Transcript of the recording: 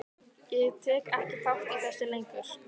Ég tek ekki þátt í þessu lengur.